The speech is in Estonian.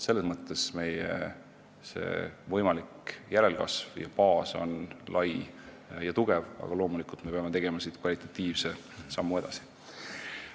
Selles mõttes on meie võimalik järelkasv ja baas lai ja tugev, aga loomulikult me peame siit kvalitatiivse sammu edasi tegema.